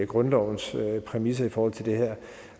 grundlovens præmisser i forhold til det her